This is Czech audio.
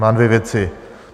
Mám dvě věci.